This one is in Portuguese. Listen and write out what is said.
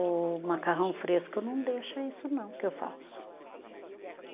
O macarrão fresco não deixa isso não, que eu faço.